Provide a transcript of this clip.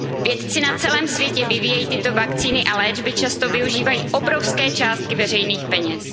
léčbě. Vědci na celém světě vyvíjející tyto vakcíny a léčby často využívají obrovské částky veřejných